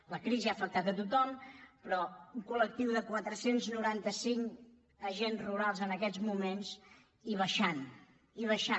la crisi ha afectat tothom però un col·lectiu de quatre cents i noranta cinc agents rurals en aquests moments i baixant i baixant